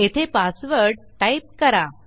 येथे password type करा